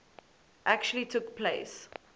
actually took place